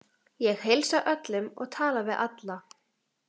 Ég heilsa öllum og tala við alla.